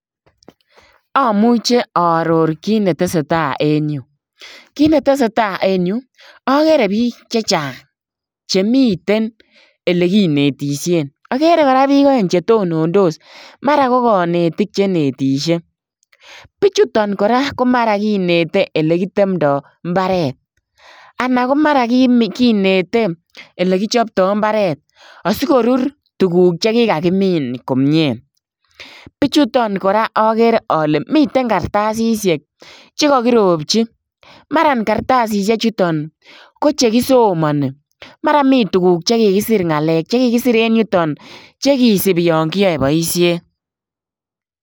Amuchei aaoror kiit ne tesetai en Yuu kit ne tesetai en Yuu agere biik che chaang chemiten ele kinetisien agere kora biik aeng che tonondos mara ko kanetiik che netishe bichutoon kora ko mara kinete ole kitemdai mbaret anan kinete ole kipchaptai mbaret asikoruur tuguuk che ki ka kimiin komyei bichutoon kora agere ale miten kartasisiek chekakiropjii mara kartasisiek chutoon ko chekisomani mara komii tuguuk che kikisir ngalek che kikisir en yutoon che kisubii yaan kiyae boisiet.